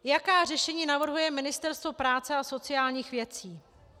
Jaká řešení navrhuje Ministerstvo práce a sociálních věcí.